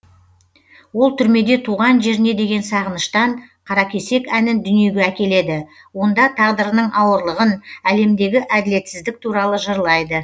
ол түрмеде туған жеріне деген сағыныштан қаракесек әнін дүниеге әкеледі онда тағдырының ауырлығын әлемдегі әділетсіздік туралы жырлайды